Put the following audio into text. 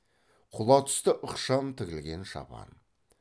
құла түсті ықшам тігілген шапан